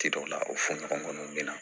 Ci dɔw la o fɔɲɔgɔnkɔw bɛna